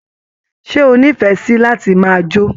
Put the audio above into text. Ṣe o nífẹẹ sí láti máa jó?